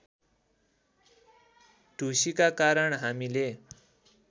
ढुसीका कारण हामीले